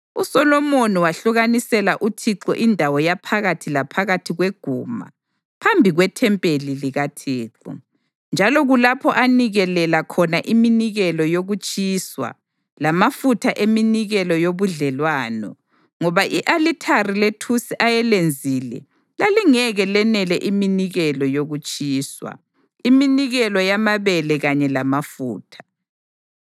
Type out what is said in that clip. USolomoni wahlukanisela uThixo indawo yaphakathi laphakathi kweguma phambi kwethempeli likaThixo, njalo kulapho anikelela khona iminikelo yokutshiswa lamafutha eminikelo yobudlelwano, ngoba i-alithari lethusi ayelenzile lalingeke lenele iminikelo yokutshiswa, iminikelo yamabele kanye lamafutha.